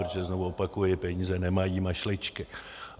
Protože znovu opakuji: peníze nemají mašličky.